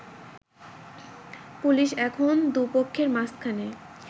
police এখন দু'পক্ষের মাঝখানে